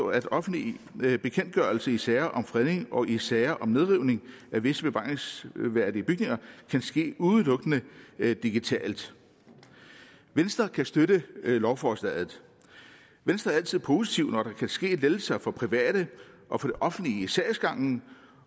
at offentlige bekendtgørelser i sager om fredning og i sager om nedrivning af visse bevaringsværdige bygninger kan ske udelukkende digitalt venstre kan støtte lovforslaget venstre er altså positive når der kan ske lettelser for private og for det offentlige i sagsgangen